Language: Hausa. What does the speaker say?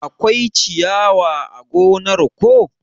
Akwai ciyawa a gonar ko?